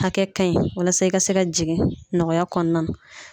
Hakɛ ka ɲi , walasa i ka se ka jigin nɔgɔya kɔnɔna na.